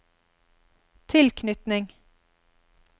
tilknytning